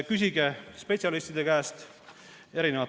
Küsige spetsialistide arvamust.